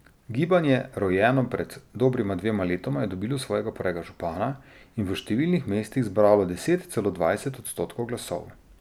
Gibanje, rojeno pred dobrima dvema letoma, je dobilo svojega prvega župana in v številnih mestih zbralo deset, celo dvajset odstotkov glasov.